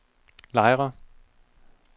Lejre